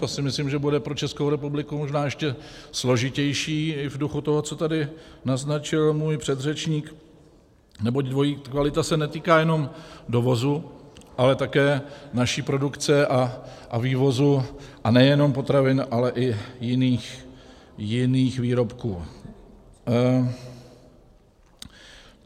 To si myslím, že bude pro Českou republiku možná ještě složitější i v duchu toho, co tady naznačil můj předřečník, neboť dvojí kvalita se netýká jenom dovozu, ale také naší produkce a vývozu, a nejenom potravin, ale i jiných výrobků.